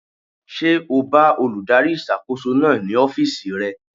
Ṣé o bá olùdarí ìṣàkóso náà ní ọ́fìsì rẹ̀?